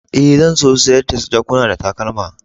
Eh, zan so sayar da jakuna da takalma.